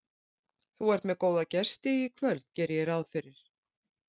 Þú ert með góða gesti í kvöld geri ég ráð fyrir?